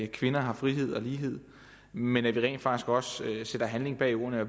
kvinder har frihed og lighed men at vi rent faktisk også sætter handling bag ordene og